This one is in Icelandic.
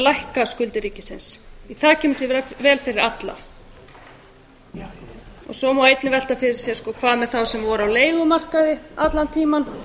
lækka skuldir ríkisins það kemur sér vel fyrir alla svo má einnig velta fyrir sér hvað með þá sem voru á leigumarkaði allan tímann